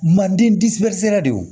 Manden de y'o